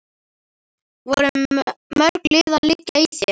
Voru mörg lið að liggja í þér?